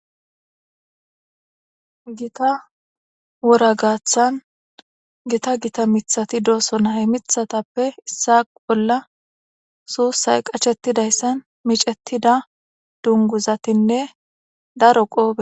Gita wora gaaththan gita gita mithati dooso naye mithatappe issa bolla suussay qachettidayssan micetida dunguzatinne daro qoope.